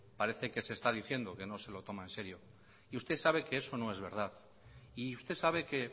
parece que se está diciendo que no se lo toma en serio y usted sabe que eso no es verdad y usted sabe que